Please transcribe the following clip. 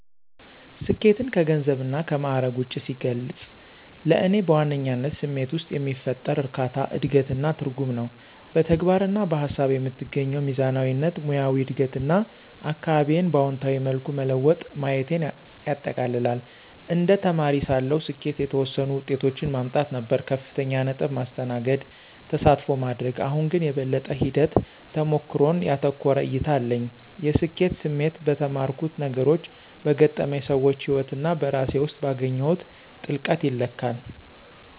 ስኬትን ከገንዘብና ከማዕረግ ውጭ ሲገልጽ፣ ለእኔ በዋነኝነት ስሜት ውስጥ የሚፈጠር እርካታ፣ እድገት እና ትርጉም ነው። በተግባር እና በሃሳብ የምትገኘው ሚዛናዊነት፣ ሙያዊ እድገት እና አካባቢዬን በአዎንታዊ መልኩ መለወጥ ማየቴን ያጠቃልላል። እንደ ተማሪ ሳለሁ፣ ስኬት የተወሰኑ ውጤቶችን ማምጣት ነበር - ከፍተኛ ነጥብ፣ ማስተናገድ፣ ተሳትፎ ማድረግ። አሁን ግን፣ የበለጠ ሂደት-ተሞክሮን ያተኮረ እይታ አለኝ። የስኬት ስሜት በተማርኩት ነገሮች፣ በገጠመኝ ሰዎች ህይወት እና በራሴ ውስጥ ባገኘሁት ጥልቀት ይለካል።